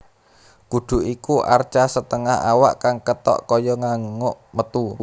Kudu iku arca setengah awak kang ketok kaya nganguk metu